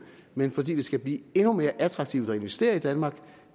men fordi det skal blive endnu mere attraktivt at investere i danmark